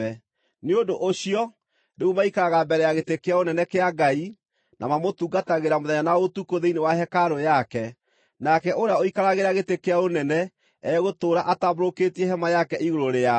Nĩ ũndũ ũcio, “rĩu maikaraga mbere ya gĩtĩ kĩa ũnene kĩa Ngai, na mamũtungatagĩra mũthenya na ũtukũ thĩinĩ wa hekarũ yake; nake ũrĩa ũikaragĩra gĩtĩ kĩa ũnene egũtũũra atambũrũkĩtie hema yake igũrũ rĩao.